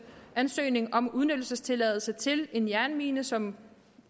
ansøgning om udnyttelsestilladelse til en jernmine som